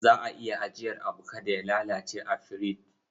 Za a iya ajiyar abu kada ya lalace a firich.